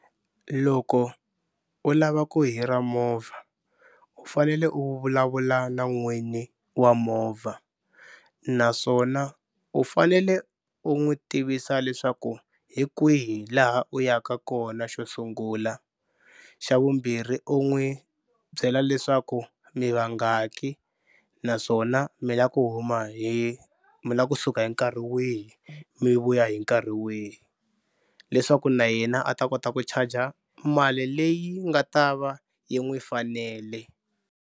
Loko u lava ku hira movha u fanele u vulavula na n'wini wa movha naswona u fanele u n'wi tivisa leswaku hi kwihi laha u yaka kona xo sungula xa vumbirhi u n'wi byela leswaku mi vangaki naswona mi la ku huma hi mi la kusuka hi nkarhi wihi mi vuya hi nkarhi wihi leswaku na yena a ta kota ku charger mali leyi nga ta va yi n'wi fanele.